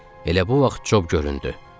Elə bu vaxt Cob göründü.